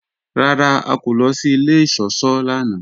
Rárá, à kò lọ sí ilẹ̀ ìṣọ̀ṣọ́ lánà.